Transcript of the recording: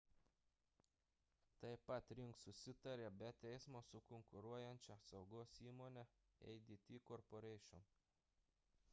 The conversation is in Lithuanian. taip pat ring susitarė be teismo su konkuruojančia saugos įmone adt corporation